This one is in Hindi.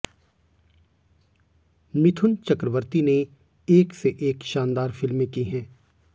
मिथुन चक्रवर्ती ने एक से एक शानदार फिल्में की हैं